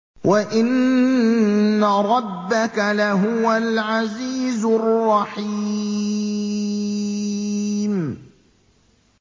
وَإِنَّ رَبَّكَ لَهُوَ الْعَزِيزُ الرَّحِيمُ